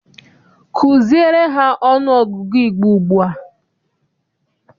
Kuziere ha ọnụọgụgụ Igbo ugbua!